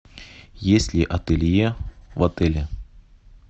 есть ли ателье в отеле